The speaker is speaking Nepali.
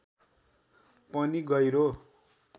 पनि गहिरो